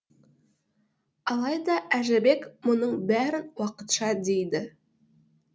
алайда әжібек мұның бәрін уақытша дейді